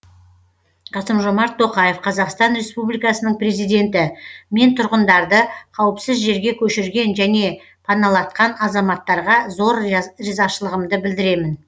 қасым жомарт тоқаев қазақстан республикасының президенті мен тұрғындарды қауіпсіз жерге көшірген және паналатқан азаматтарға зор ризашылығымды білдіремін